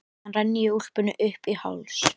Síðan renni ég úlpunni upp í háls.